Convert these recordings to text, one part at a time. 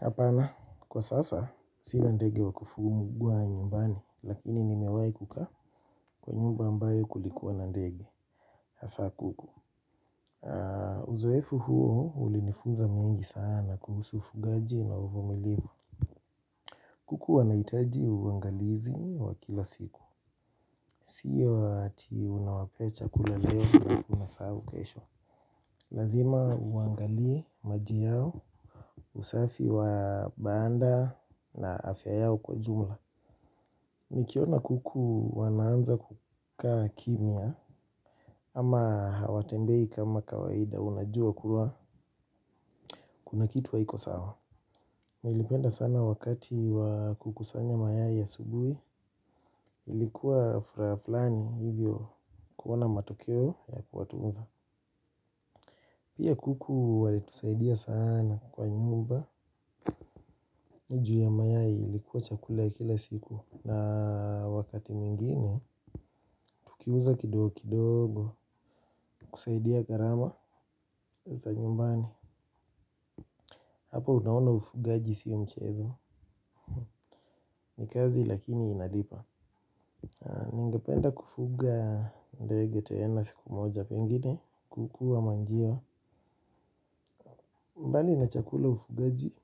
Hapana, kwa sasa sina ndege wa kufuguwa nyumbani lakini nimewahi kukaa kwa nyumba ambayo kulikuwa na ndege hasa kuku. Uzoefu huo ulinifunza mengi sana kuhusu ufugaji na uvumilivu. Kuku wanahitaji uangalizi wa kila siku. Sio ati unawapea chakula leo halafu unasahau kesho. Lazima uangalie maji yao, usafi wa banda na afya yao kwa jumla. Nikiona kuku wanaanza kukaa kimya ama hawatembei kama kawaida unajua kuwa kuna kitu haiko sawa. Nilipenda sana wakati wa kukusanya mayai asubuhi ilikuwa furaha flani hivyo kuona matokeo ya kuwatunza. Pia kuku walitusaidia sana kwa nyumba ni juu ya mayai ilikuwa chakula ya kila siku. Na wakati mwingine, tukiuza kidogo kidogo, kusaidia gharama za nyumbani. Hapa unaona ufugaji sio mchezo, ni kazi lakini inalipa. Ningependa kufuga ndege tena siku moja pengine, kuku ama njiwa. Mbali na chakula ufugaji,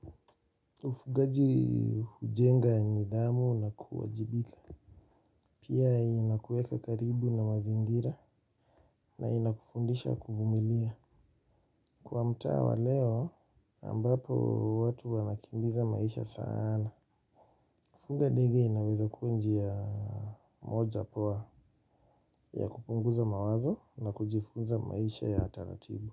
ufugaji hujenga nidhamu na kuwajibika. Pia inakuweka karibu na mazingira na inakufundisha kuvumilia. Kwa mtaa wa leo ambapo watu wanakimbiza maisha sana. Fuga ndege inaweza kuwa njia moja poa ya kupunguza mawazo na kujifunza maisha ya taratibu.